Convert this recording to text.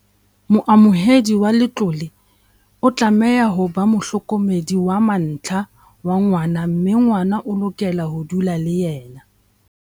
Moamohedi wa letlole o tlameha ho ba mohlokome -di wa mantlha wa ngwana mme ngwana o lokela ho dula le yena.